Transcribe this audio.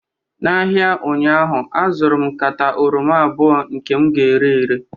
n'ahịa ụnyaahụ azụrụ m nkata oroma 2 nke m ga-ere ere